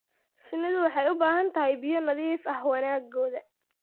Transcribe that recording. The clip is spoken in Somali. Shinnidu waxay u baahan tahay biyo nadiif ah wanaaggooda.